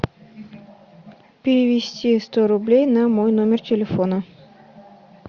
перевести сто рублей на мой номер телефона